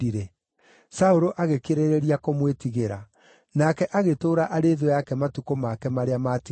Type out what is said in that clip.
Saũlũ agĩkĩrĩrĩria kũmwĩtigĩra, nake agĩtũũra arĩ thũ yake matukũ make marĩa maatigaire.